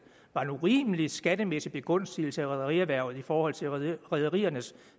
var en urimelig skattemæssig begunstigelse af rederierhvervet i forhold til rederiernes